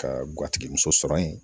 Ka guwatigi muso ye